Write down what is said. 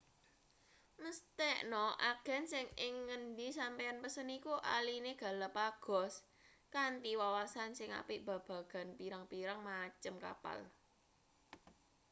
mesthekna agen sing ing ngendi sampeyan pesen iku ahline galapagos kanthi wawasan sing apik babagan pirang-pirang macem kapal